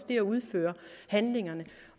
det at udføre handlingerne